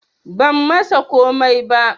Ban masa komai ba